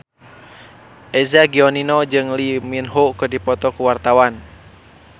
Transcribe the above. Eza Gionino jeung Lee Min Ho keur dipoto ku wartawan